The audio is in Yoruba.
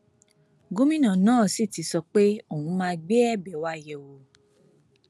gómìnà náà sì ti sọ pé òun máa gbé ẹbẹ wa yẹ wò